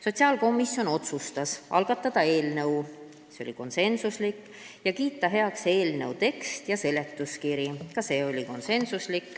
Sotsiaalkomisjon otsustas algatada eelnõu ning kiita heaks eelnõu teksti ja seletuskirja .